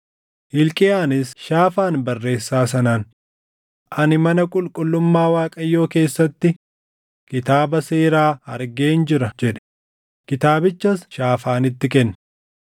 Hilqiyaanis Shaafaan barreessaa sanaan, “Ani mana qulqullummaa Waaqayyoo keessatti Kitaaba Seeraa argeen jira” jedhe; kitaabichas Shaafaanitti kenne.